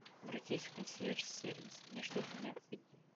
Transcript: обратись в консьерж сервис мне что то необходимо